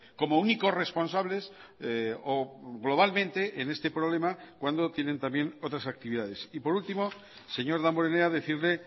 como únicos responsables o globalmente en este problema cuando tienen también otras actividades y por último señor damborenea decirle